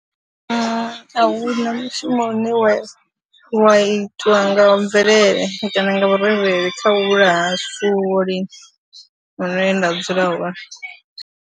A hu na mushumo une wa wa itwa nga mvelele kana vhurereli kha u vhulaya zwifuwo lini hune nda dzula hone.